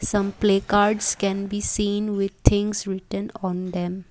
some play cards can be seen with things written on them.